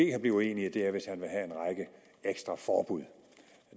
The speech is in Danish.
kan blive enige er hvis han vil have en række ekstra forbud